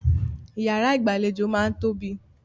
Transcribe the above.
Ìyàrá ìgbàlejò máa ń tóbi.